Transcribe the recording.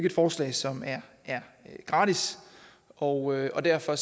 et forslag som er gratis og derfor